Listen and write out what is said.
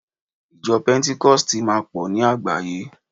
ijo pentikosti ma po ni àgbáyé